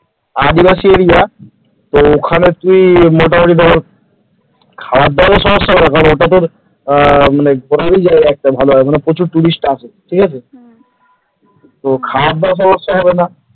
আদিবাসী area তো ওখানে তুই মোটামুটি ধর খাবার দাবার সমস্ত পেয়ে যাবি ওখানে তোর মোটামুটি প্রচুর tourist আসে ঠিক আছে খাবারদাবারের সমস্যা হবে না ।